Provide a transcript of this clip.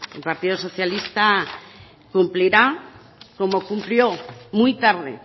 el partido socialista cumplirá como cumplió muy tarde